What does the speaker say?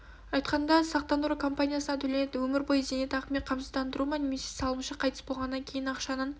айтқанда сақтандыру компаниясынан төленетін өмір бойы зейнетақымен қамсыздандыру ма немесе салымшы қайтыс болғаннан кейін ақшаның